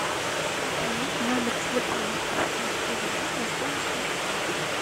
пополнить номер телефона друга ивана на сумму сто рублей